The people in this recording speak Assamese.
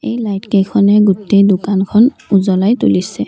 এই লাইটকেইখনে গোটেই দোকানখন উজ্বলাই তুলিছে।